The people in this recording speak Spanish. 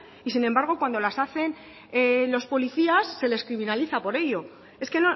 y sin embargo cuando las hacen los policías se les criminaliza por ello es que